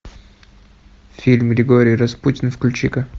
фильм григорий распутин включи ка